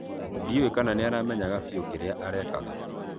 Ndĩũe kana nĩaramenyaga fĩũ kĩrĩa arekaga